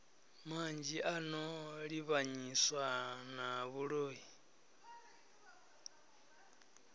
manzhi ano livhanyiswa na vhuloi